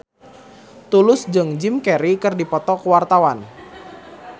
Tulus jeung Jim Carey keur dipoto ku wartawan